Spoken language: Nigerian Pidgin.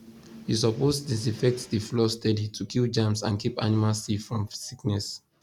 you suppose disinfect the floor steady to kill germs and keep animals safe from sickness